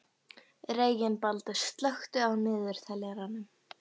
Reginbaldur, slökktu á niðurteljaranum.